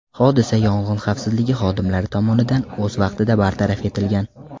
Hodisa yong‘in xavfsizligi xodimlari tomonidan o‘z vaqtida bartaraf etilgan.